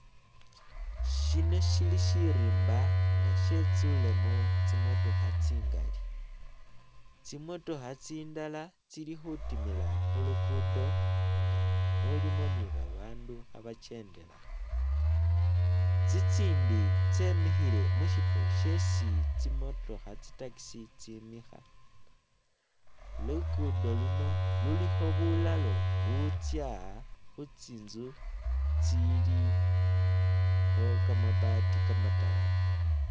Shino shili Shirimba nga shyetsulemo tsimotookha tsingali, tsimotookha tsindala tsili khutimila khu lukudo nga mulimo ni babandu khabakyendelaho, tsitsindi tsyemihile musifo shesi tsimotookha tsi taxi tsimikha, lukudo luno lulikho bulalo butsya khu tsinzu tsiliho kabaati kamatalage